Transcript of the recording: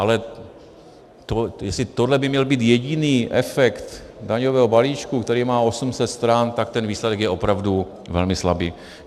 Ale jestli tohle by měl být jediný efekt daňového balíčku, který má 800 stran, tak ten výsledek je opravdu velmi slabý.